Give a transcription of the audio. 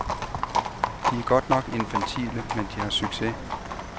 De er godt nok infantile, men de har succes.